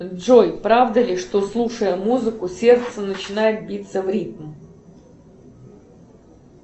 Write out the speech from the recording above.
джой правда ли что слушая музыку сердце начинает биться в ритм